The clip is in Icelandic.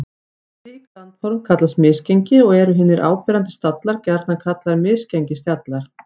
Slík landform kallast misgengi og eru hinir áberandi stallar gjarnan kallaðir misgengisstallar.